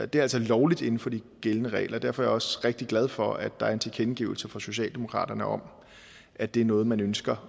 det er altså lovligt inden for de gældende regler og derfor er jeg også rigtig glad for at der er en tilkendegivelse fra socialdemokratiet om at det er noget man ønsker